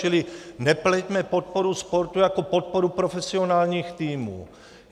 Čili nepleťme podporu sportu jako podporu profesionálních týmů.